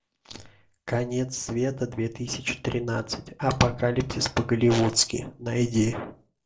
конец света две тысячи тринадцать апокалипсис по голливудски найди